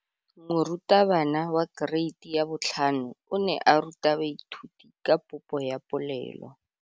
Moratabana wa kereiti ya 5 o ne a ruta baithuti ka popô ya polelô.